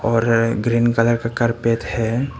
और green colour का carpet है।